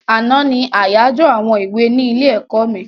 Àná ní àyájọ àwọn èwe ní ilé-ẹ̀kọ́ mi.